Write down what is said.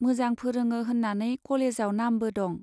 मोजां फोरोङो होन्नानै कलेजाव नामबो दं।